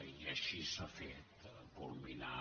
i així s’ha fet culminar